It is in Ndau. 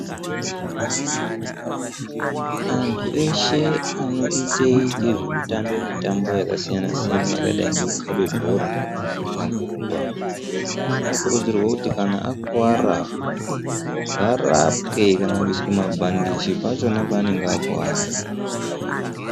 Antu eshe anoite nezvemitambo yakasiyana siyana yakadai ngekukhabe bhora kana kurumba, anokurudzirwe kuti kana akuwara varapwe kana kuiswa mabhandiji pachona paanenge akuwara.